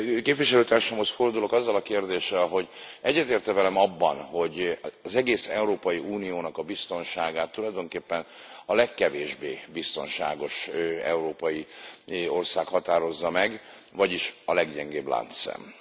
Képviselőtársamhoz fordulok azzal a kérdéssel, hogy egyetért e velem abban, hogy az egész Európai Unió biztonságát tulajdonképpen a legkevésbé biztonságos európai ország határozza meg, vagyis a leggyengébb láncszem?